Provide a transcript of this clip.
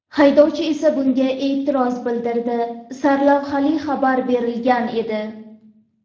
Haydovchi esa bunga e’tiroz bildirdi” sarlavhali xabar berilgan edi .